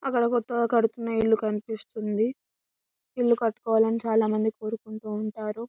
అక్కడ కొత్తగా కడుతున్న ఇల్లు కనిపిస్తూ ఉంది. ఇల్లు కట్టుకోవాలని చాల మాది కోరుకుంటా ఉంటారు.